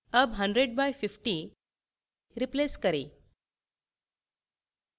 अब 100 by 50 replace करें